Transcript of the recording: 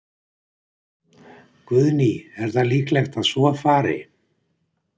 Guðný: Er það líklegt að svo fari?